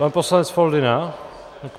Pan poslanec Foldyna?